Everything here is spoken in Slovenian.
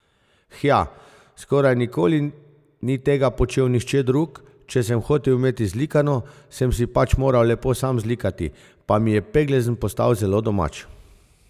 Hja, skoraj nikoli ni tega počel nihče drug, če sem hotel imeti zlikano, sem si pač moral lepo sam zlikati, pa mi je peglezen postal zelo domač.